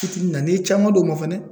Fitini na n'i ye caman d'o ma fɛnɛ